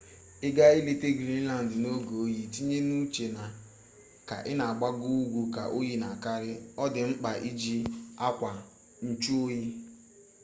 ị gaa ileta grinland n'oge oyi itinye n'uche na ka ị na agbago ugu ka oyi na akarị ọ dị mkpa iji akwa nchụ oyi